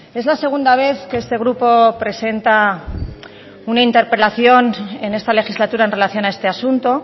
es la segunda vez que este grupo presenta una interpelación en esta legislatura en relación a este asunto